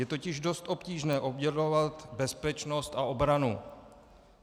Je totiž dost obtížné oddělovat bezpečnost a obranu.